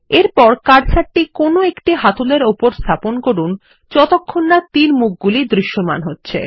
এরপর কার্সারটি কোনো একটি হাতল এর উপর স্থাপন করুন যতক্ষণ না তীরমুখ গুলি দৃশ্যমান হচ্ছে